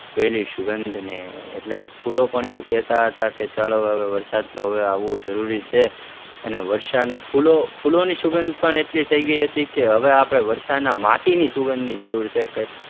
તેની સુગંધને એટલે કે ફૂલો પણ એવું કહેતા હતા કે ચાલો વરસાદ તો હવે આવવો જરૂરી છે અને વર્ષાની, ફૂલો, ફૂલોની સુગંધ પણ એટલી થઇ ગઈ હતી કે હવે આપણે વર્ષાના માટીની સુગંધની જરૂર છે.